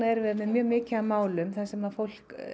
erum við með mjög mikið af málum þar sem að fólk